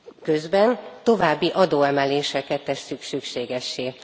Közben további adóemeléseket teszünk szükségessé.